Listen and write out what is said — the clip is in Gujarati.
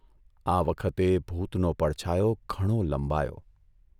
આ વખતે ભૂતનો પડછાયો ઘણો લંબાયો.